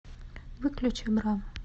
выключи бра